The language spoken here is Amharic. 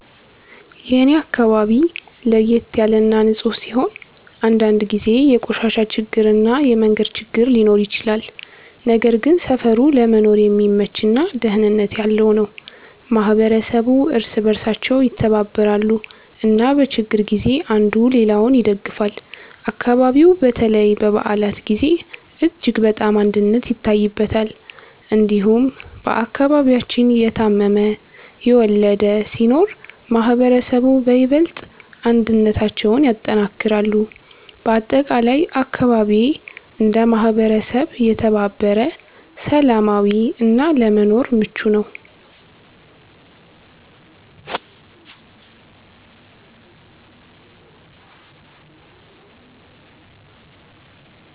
የኔ አካባቢ ለየት ያለ እና ንፁህ ሲሆን፣ አንዳንድ ጊዜ የቆሻሻ ችግር እና የመንገድ ችግር ሊኖር ይችላል። ነገር ግን ሰፈሩ ለመኖር የሚመች እና ደህንነት ያለው ነው። ማህበረሰቡ እርስ በእርሳቸው ይተባበራሉ እና በችግር ጊዜ አንዱ ሌላውን ይደግፋል። አካባቢው በተለይ በበዓላት ጊዜ እጅግ በጣም አንድነት ይታይበታል። እንዲሁም በአከባቢያችን የታመመ፣ የወለደ ሲኖር ማህበረሰቡ በይበልጥ አንድነታቸውን ያጠናክራሉ። በአጠቃላይ አካባቢዬ እንደ ማህበረሰብ የተባበረ፣ ሰላማዊ እና ለመኖር ምቹ ነው።